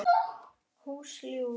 Hús Júlíu.